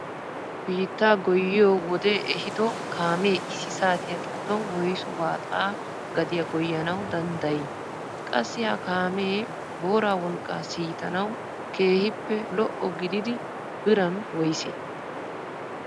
Biittaa goyiyoo wodee eehido kaamee issi saatiyaa giddon woysu waaxa gadiyaa goyanawu dandayii? qassi ha kaamee booraa wolqqaa siitanawu keehippe lo"o gididi biran woysee?